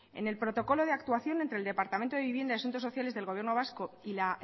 en el protocolo de actuación entre el departamento de vivienda y asuntos sociales del gobierno vasco y la